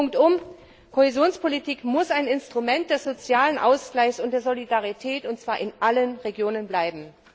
Punktum, Kohäsionspolitik muss ein Instrument des sozialen Ausgleichs und der Solidarität und zwar in allen Regionen bleiben!